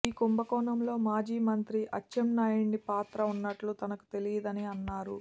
ఈ కుంభకోణంలో మాజీమంత్రి అచ్చెన్నాయుడి పాత్ర ఉన్నట్లు తనకు తెలియదని అన్నారు